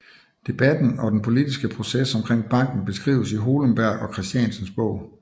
Debatten og den politiske proces omkring banken beskrives i Hohlenberg og Kristiansens bog